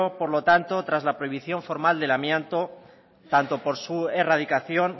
por lo tanto tras la prohibición formal del amianto tanto por su erradicación